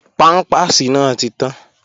Pámpàsì náà ti tán